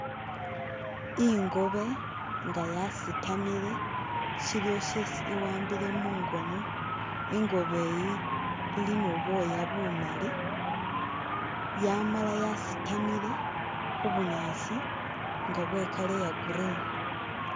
Ingoobe nga yasitamile shiliwo shesi iwambile mungono ingoobe yi ili ni bwoya bumali yamala yasitamile khubunyasi nga bwe colour iya green.